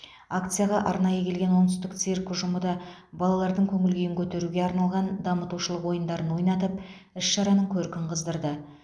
акцияға арнайы келген оңтүстік цирк ұжымы да балалардың көңіл күйін көтеруге арналған дамытушылық ойындарын ойнатып іс шараның көркін қыздырды